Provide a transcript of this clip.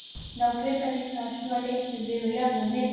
Ná Grindvíkingar að snúa leiknum við og jafna metin?